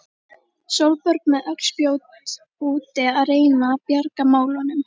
Sólborg með öll spjót úti að reyna að bjarga málunum.